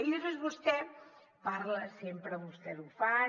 i després vostè parla sempre que vostès ho fan